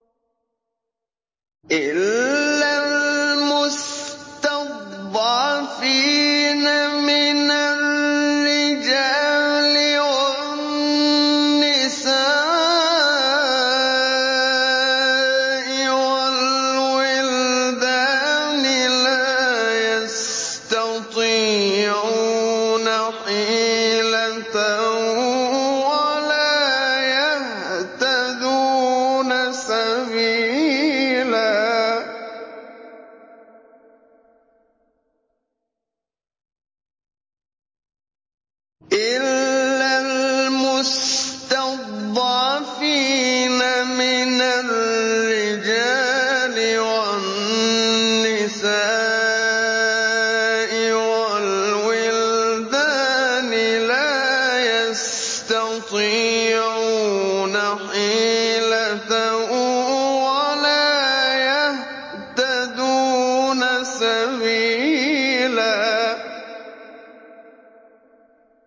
إِلَّا الْمُسْتَضْعَفِينَ مِنَ الرِّجَالِ وَالنِّسَاءِ وَالْوِلْدَانِ لَا يَسْتَطِيعُونَ حِيلَةً وَلَا يَهْتَدُونَ سَبِيلًا